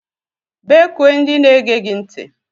Bekue ndị na-ege gị ntị!!